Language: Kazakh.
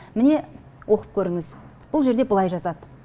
міне оқып көріңіз бұл жерде былай жазады